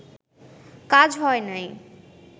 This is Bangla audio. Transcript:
কাজ হয় নাই